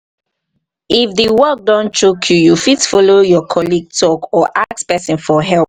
if di work don choke you fit follow your colleague talk or ask person for help